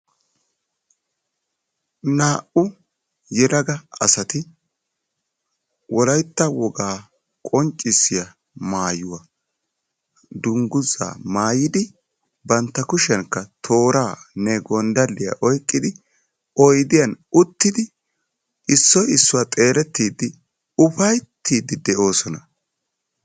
Naa'u yeelaga asaati wolaytta wogaa qonccissiya maayuwaa maayidi bantta kushiyanka toorane gonddaliya oyqqidi oyddiyan uttidi issoy issuwa xeeletidi uffayttidi deosona.